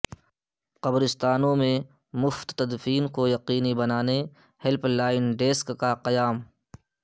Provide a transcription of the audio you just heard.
قبرستانوں میں مفت تدفین کو یقینی بنانے ہیلپ لائین ڈیسک کا قیام